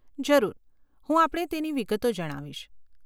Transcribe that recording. જરૂર, હું આપણે તેની વિગતો જણાવીશ.